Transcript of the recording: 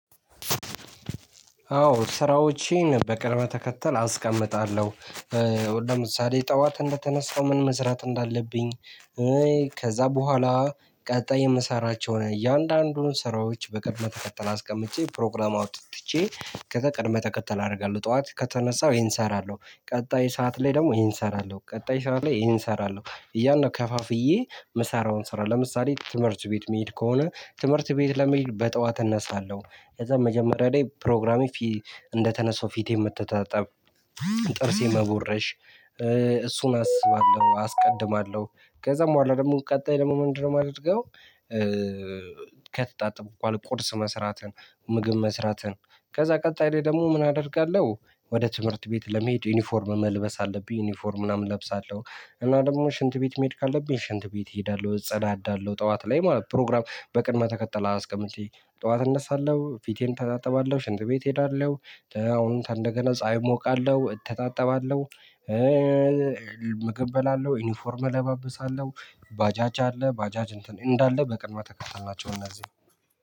አዎ ስራዎቼን በቅርበ ተከተል አስቀምጣለሁ። ወደ ምሳሌ ጠዋት እንደተነሳው ምን መስራት እንዳለብኝ። ከዛ በኋላ ቀጣይ የምሰራቸውን እያንዳንዱን ስራዎች በቅድመ ተከተል አስቀምጨ ፕሮግራም አውጥቼ። ከቅድመ ተከተል አደርጋለሁ። ጠዋት ከተነሳው ይሄን እሰራለሁ ቀጣይ ሰዓት ላይ ደግሞ ይሄን እሰራለሁ ቀጣይ ሰዓት ላይ ይሄን እሰራለሁ። እያልነው ከፋፍዬ ምሳራውን ስራ ለምሳሌ ትምህርት ቤት መሄድ ከሆነ ትምህርት ቤት ለመሄድ በጠዋት እነሳለሁ። ከዛ መጀመሪያ ላይ ፕሮግራሜ። እንደተነሳው ፊቴን ምትታጠብ። ጥርሴ መቦረሽ። እሱን አስባለሁ አስቀድማለሁ። ከዛ በኋላ ደግሞ ቀጣይ ደግሞ ምንድነው ማደርገው? ከተጣጥብሁ በኋላ ቁርስ መስራትን። ምግብ መስራትን። ከዛ ቀጣይ ላይ ደግሞ ምን አደርጋለሁ? ወደ ትምህርት ቤት ለመሄድ ዩኒፎርም መልበስ አለብኝ ዩኒፎርም ምናምን እለብሳለሁ። እና ደግሞ ሽንት ቤት መሄድ ካለብኝ ሽንት ቤት እሄዳለሁ እጸዳዳለሁ። ጠዋት ላይ ማለት ፕሮግራም በቅድመ ተከተል አስቀምጬ ጠዋት እነሳለሁ ፊቴን እተጣጥባለሁ ሽንት ቤት እሄዳለሁ። አሁን ከንደገና ፀሀይ እሞቃለሁ እተጣጠባለሁ። ምግብ እበላለሁ ዩኒፎርም እለባብሳለሁ። ባጃጅ አለ ባጃጅ እንትን እንዳለ በቅድመ ተከተል ናቸው። እነዚህ